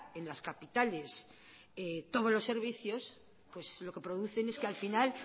en las capitales todos los servicios pues lo que producen es que al final